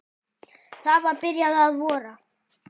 Það var byrjað að vora.